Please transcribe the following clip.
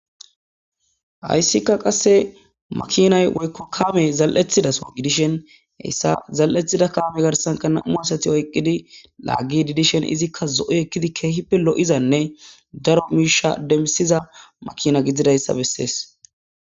Hayssika qasse makinay woykko kamey zal'thida so gidishen heyssa zal'ethi kaame garsanka namu asati oyqqidi laaggi didishen izikka zo7o ekkidi keehippe 'izanne daro miisha demsiza makina gidzidayssa bessees.